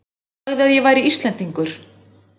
Sagði að ég væri Íslendingur.